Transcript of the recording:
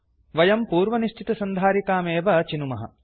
वयं पूर्वनिश्चितसन्धारिकामेव चिनुमः